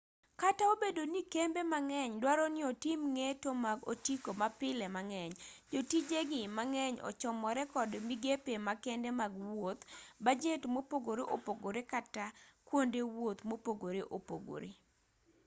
kata obedo ni kembe mang'eny duaro ni otim ng'eto mag otiko mapile mang'eny jotijegi mang'eny ochomore kod migepe makende mag wuoth bajet mopogore opogore kata kata kwonde wuoth mopogore opogore